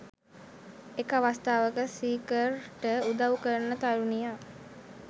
එක අවස්ථාවක සීකර්ට උදව් කරන තරුණියක්